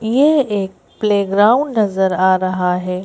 ये एक प्लेग्राउंड नजर आ रहा है।